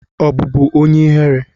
Ọ bụbu onye ihere?